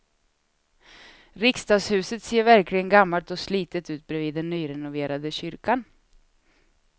Riksdagshuset ser verkligen gammalt och slitet ut bredvid den nyrenoverade kyrkan.